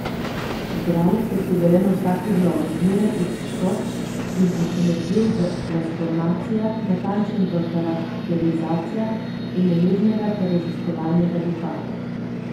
Igralec je suveren v vsaki vlogi, zmeraj iščoč in presenetljiv v transformacijah, natančen v karakterizacijah in nemirnega ter raziskovalnega duha.